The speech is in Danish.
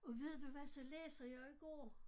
Og ved du hvad så læser jeg i går